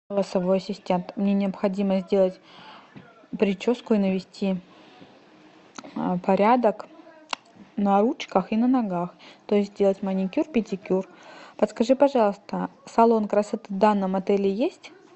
голосовой ассистент мне необходимо сделать прическу и навести порядок на ручках и на ногах то есть сделать маникюр педикюр подскажи пожалуйста салон красоты в данном отеле есть